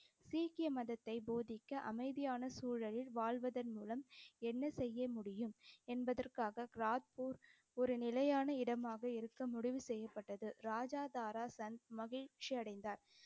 சீக்கிய மதத்தைப் போதிக்க அமைதியான சூழலில் வாழ்வதன் மூலம் என்ன செய்ய முடியும் என்பதற்காகச் கிராத்பூர் ஒரு நிலையான இடமாக இருக்க முடிவு செய்யப்பட்டது. ராஜா தாராசந்த் மகிழ்ச்சி அடைந்தார்.